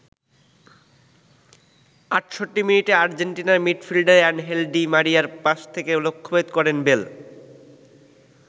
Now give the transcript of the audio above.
৬৮ মিনিটে আর্জেন্টিনার midfielder Angel Di মারিয়ার পাস থেকে লক্ষ্যভেদ করেন বেল।